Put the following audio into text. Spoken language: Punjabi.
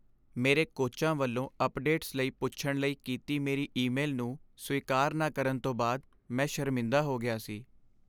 ਮੇਰੇ ਕੋਚਾਂ ਵੱਲੋਂ ਅੱਪਡੇਟਸ ਲਈ ਪੁੱਛਣ ਲਈ ਕੀਤੀ ਮੇਰੀ ਈਮੇਲ ਨੂੰ ਸਵੀਕਾਰ ਨਾ ਕਰਨ ਤੋਂ ਬਾਅਦ ਮੈਂ ਸ਼ਰਮਿੰਦ ਹੋ ਗਿਆ ਸੀ।